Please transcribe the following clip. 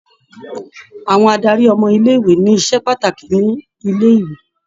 Àwọn adarí ọmọ ilé-ìwé ni iṣẹ́ pàtàkì ni ilé-ìwé.